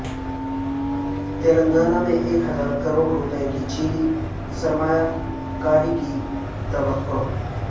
تلنگانہ میں ایک ہزار کروڑ روپے کی چینی سرمایہ کاری کی توقع